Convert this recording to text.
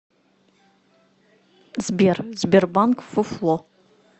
сбер сбербанк фуфло